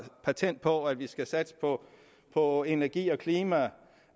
patent på at vi skal satse på på energi og klima